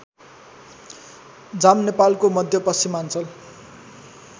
जाम नेपालको मध्यपश्चिमाञ्चल